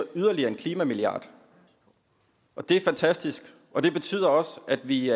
yderligere en klimamilliard det er fantastisk og det betyder også at vi